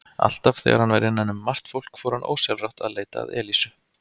Alltaf þegar hann var innan um margt fólk fór hann ósjálfrátt að leita að Elísu.